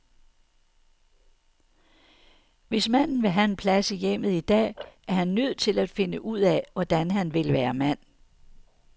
Hvis manden vil have en plads i hjemmet i dag, er han nødt til finde ud af, hvordan han vil være mand.